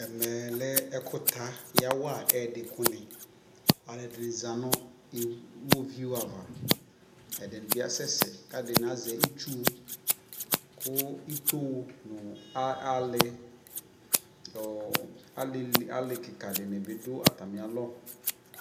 ɛkɛlɛ ɛkʋ ta yawa ɛdii kʋ ni, alʋɛdini zanʋ iwɔviʋ ava kʋɛdini bi asɛsɛ kɛɛdini azɛ itsʋʋ kʋ itɔɔ nʋ ali, alikikaa dibi dʋ atami alɔ